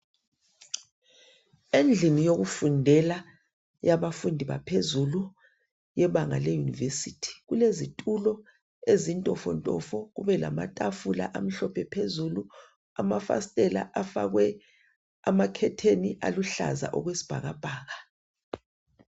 Endlini yokufundela yabafundi baphezulu yebanga leYunivesi kulezitulo ezintofontofo kubelamatafula amhlophe phezulu .Amafasiteli afakwe amakhetheni aluhlaza okwesibhakabhaka.